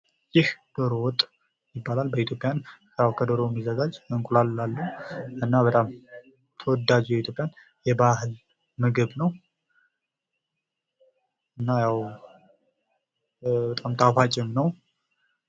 ይህ ዶሮ ወጥ ይባላል ከዶሮ የሚዘጋጅ አንቁላልም አለው ። በጣም ተወዳጁ የኢትዮጵያን የባህል ምግብ ነው። በጣም ጣፋጭም ነው።